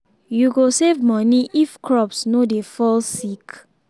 you go save money if crops no dey fall sick